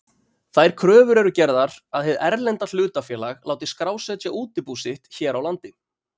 Þær kröfur eru gerðar að hið erlenda hlutafélag láti skrásetja útibú sitt hér á landi.